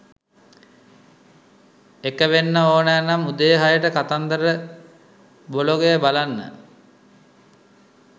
එක වෙන්න ඕනෑ නම් උදේ හයට කතන්දර බ්ලොගය බලන්න